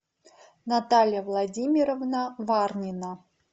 наталья владимировна варнина